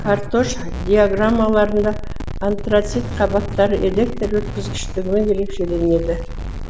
каротаж диаграммаларында антрацит қабаттары электр өткізгіштігімен ерекшеленеді